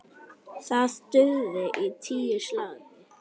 Það dugði í tíu slagi.